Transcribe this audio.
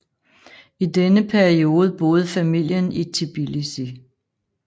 I denne periode boede familien i Tbilisi